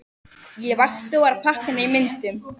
Ég vakti og var að pakka niður myndunum.